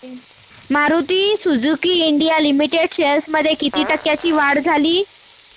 Maruti Suzuki India limited shares मध्ये किती टक्क्यांची वाढ झाली